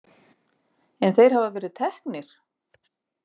En þeir hafa verið teknir.